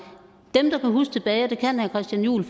dem der kan huske tilbage og det kan herre christian juhl